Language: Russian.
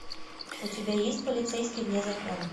у тебя есть полицейский вне закона